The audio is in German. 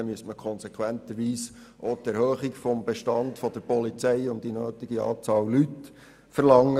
Dann müsste man aber seitens der Antragsteller konsequenterweise auch die Erhöhung des Bestands der Polizei um die nötige Anzahl Leute verlangen.